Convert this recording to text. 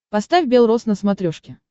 поставь бел роз на смотрешке